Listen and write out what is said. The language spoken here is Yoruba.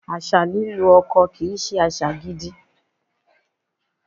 Àṣà lílu ọkọ kì í ṣe àṣà gidi.